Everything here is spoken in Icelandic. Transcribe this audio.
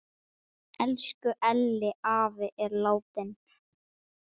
Elsku Elli afi er látin.